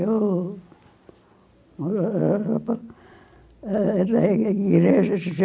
Eu morava ah na igreja